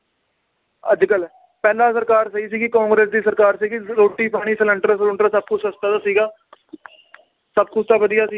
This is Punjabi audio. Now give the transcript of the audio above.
ਅੱਜਕਲ ਪਹਿਲਾਂ ਸਰਕਾਰ ਸਹੀ ਸੀਗੀ ਕਾਂਗਰਸ ਦੀ ਸਰਕਾਰ ਸੀਗੀ ਰੋਟੀ ਪਾਣੀ ਸਿਲੰਡਰ ਸਲੂੰਡਰ ਸਬ ਕੁਛ ਸਸਤਾ ਤਾਂ ਸੀਗਾ ਸਬ ਕੁਛ ਤਾਂ ਵਧੀਆ ਸੀ।